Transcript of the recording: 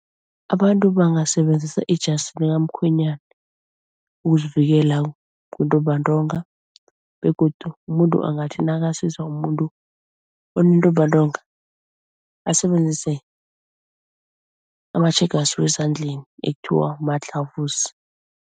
Abantu bangasebenzisa ijasi likamkhwenyana ukuzivikela kuntumbantonga begodu umuntu angathi nakasiza umuntu onentumbantonga asebenzise amatjhegasi wezandleni ekuthiwa ma-gloves.